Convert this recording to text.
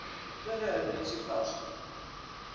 En þetta verður öðruvísi frásögn.